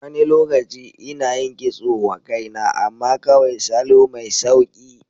Wani lokaci ina yin kitso wa kaina, amma kawai salo mai sauƙi.